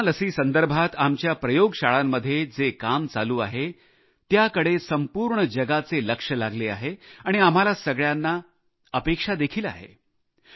corona लसी संदर्भात आमच्या प्रयोगशाळांमध्ये जे काम सुरु आहे त्याकडे संपूर्ण जगाचे लक्ष लागले आहे आणि आम्हाला सगळ्यांना आशा देखील आहे